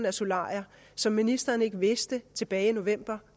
af solarier som ministeren ikke vidste tilbage i november